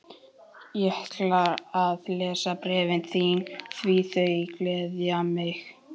Ég ætla að lesa bréfin þín því þau gleðja mig.